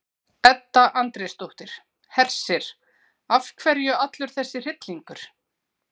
Edda Andrésdóttir: Hersir, af hverju allur þessi hryllingur?